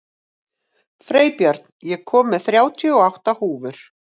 Freybjörn, ég kom með þrjátíu og átta húfur!